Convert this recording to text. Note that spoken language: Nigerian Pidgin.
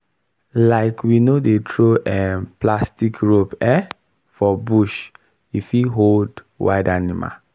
um we no dey throw um plastic rope um for bush e fit hold wild animal